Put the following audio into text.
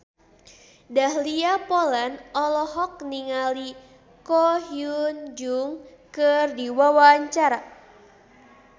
Dahlia Poland olohok ningali Ko Hyun Jung keur diwawancara